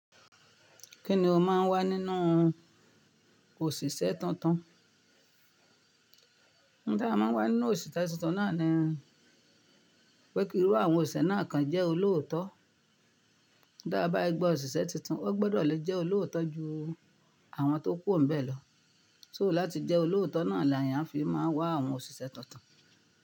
Kí ni o máa ń wá nínú òṣìṣẹ́ tuntun? Ohun ti a máa ń wá nínú òṣìṣẹ́ tuntun náà ni pé ki iru àwọn òṣìṣẹ́ náà kan jẹ́ olóótọ́. Tí a bá fi gba òṣìṣẹ́ tuntun, o gbọdọ̀ lè jẹ́ olóòótọ́ ju àwọn tó kùro nibẹ́ lọ. So láti jẹ́ olóòótọ́ náà ni eeyàn fi máa wá àwọn òṣìṣẹ́ tuntun.